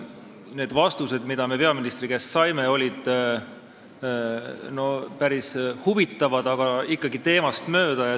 Need vastused, mida me peaministri käest saime, olid päris huvitavad, aga ikkagi teemast mööda.